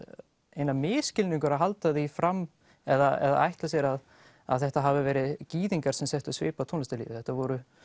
eiginlega misskilningur að halda því fram eða ætla sér að að þetta hafi verið gyðingar sem settu svip á tónlistarlífið þetta voru